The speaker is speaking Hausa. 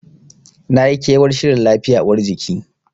Nayi kewar shirin lafiya uwar jiki.